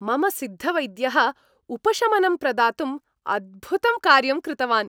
मम सिद्धवैद्यः उपशमनं प्रदातुम् अद्भुतं कार्यं कृतवान्।